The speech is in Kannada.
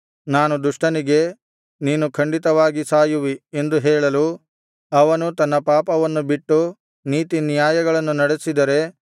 ನಾನು ದುಷ್ಟನಿಗೆ ನೀನು ಖಂಡಿತವಾಗಿ ಸಾಯುವಿ ಎಂದು ಹೇಳಲು ಅವನು ತನ್ನ ಪಾಪವನ್ನು ಬಿಟ್ಟು ನೀತಿನ್ಯಾಯಗಳನ್ನು ನಡೆಸಿದರೆ